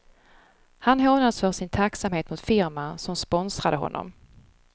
Han hånades för sin tacksamhet mot firman som sponsrade honom.